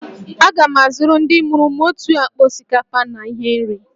Aga m azụrụ ndị mụrụ m otu akpa osikapa na ihe nri